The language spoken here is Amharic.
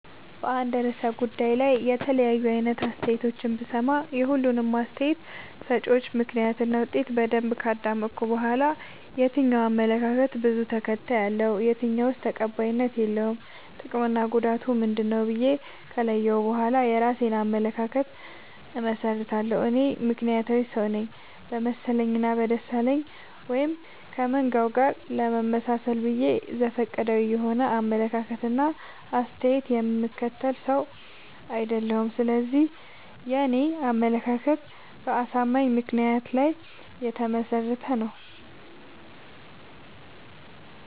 በአንድ እርሰ ጉዳይ ላይ የተለያዩ አይነት አስተያየቶችን ብሰማ። የሁሉንም አስታየት ሰጭወች ምክንያት እና ውጤት በደንብ ካዳመጥኩ በኋላ። የትኛው አመለካከት በዙ ተከታይ አለው። የትኛውስ ተቀባይነት የለውም ጥቅምና ጉዳቱ ምንድ ነው ብዬ ከለየሁ በኋላ የእራሴን አመለካከት አመሠርታለሁ። እኔ ምክንያታዊ ሰውነኝ በመሰለኝ እና በደሳለኝ ወይም ከመንጋው ጋር ለመመጣሰል ብዬ ዘፈቀዳዊ የሆነ አመለካከት እና አስተያየት የምከተል ሰው። አይደለሁም ስለዚህ የኔ አመለካከት በአሳማኝ ምክንያት ላይ የተመሰረተ ነው።